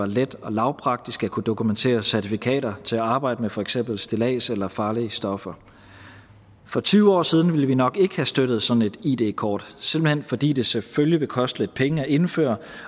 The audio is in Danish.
let og lavpraktisk at kunne dokumentere certifikater til at arbejde med for eksempel stillads eller farlige stoffer for tyve år siden ville vi nok ikke have støttet sådan et id kort simpelt hen fordi det selvfølgelig vil koste lidt penge at indføre